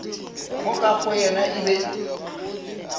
moka go yena e be